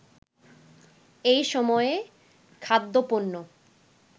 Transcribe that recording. এ সময়ে খাদ্যপণ্য